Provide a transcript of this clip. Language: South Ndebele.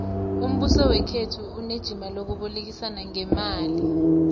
umbuso wekhethu unejima lokubolekisa ngeemali